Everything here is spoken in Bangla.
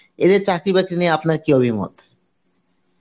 এদের চাকরি বাকরি নিয়ে আপনার কী অভিমত?